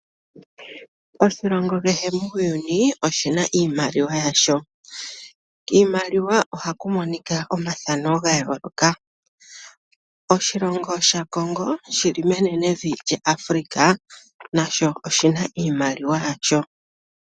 Oshilongo kehe muuyuni oshina iimaliwa yasho. Kiimaliwa ohaku monika omathano ga yooloka. Oshilongo Congo shoka shili menenevi Africa nasho oshi na iimaliwa yasho.